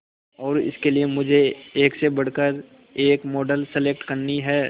और इसके लिए मुझे एक से बढ़कर एक मॉडल सेलेक्ट करनी है